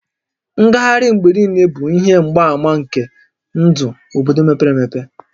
Ngagharị mgbe niile bụ ihe mgbaàmà nke ndụ obodo mepere emepe